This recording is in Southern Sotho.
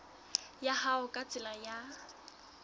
ya hao ka tsela ya